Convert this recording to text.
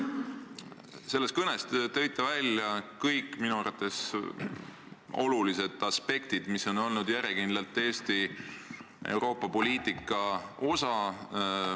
Selles kõnes te tõite välja kõik minu arvates olulised aspektid, mis on olnud järjekindlalt Eesti Euroopa-poliitika osad.